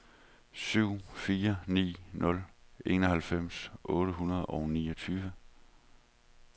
syv fire ni nul enoghalvfems otte hundrede og niogtyve